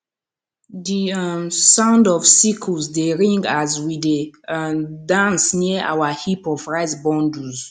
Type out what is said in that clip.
the um sound of sickles dey ring as we dey um dance near our heap of rice bundles